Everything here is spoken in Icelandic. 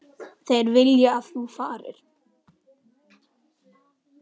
Þeir vilja að þú farir.